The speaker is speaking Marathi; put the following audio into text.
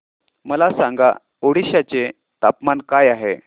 मला सांगा ओडिशा चे तापमान काय आहे